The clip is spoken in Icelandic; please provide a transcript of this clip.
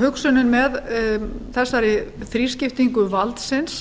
hugsunin með þessari þrískiptingu valdsins